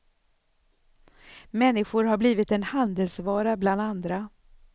Människor har blivit en handelsvara bland andra.